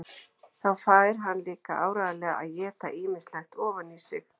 Þá fær hann líka áreiðanlega að éta ýmislegt ofan í sig.